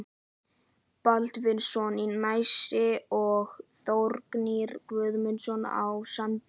Baldvinsson í Nesi og Þórgnýr Guðmundsson á Sandi.